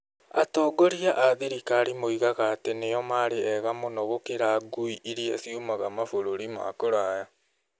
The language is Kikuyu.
Atongoria a thirikari moigaga atĩ nĩo maarĩ ega mũno gũkĩra ngui iria ciumaga mabũrũri ma kũraya.